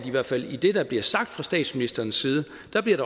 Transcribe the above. i hvert fald i det der bliver sagt fra statsministerens side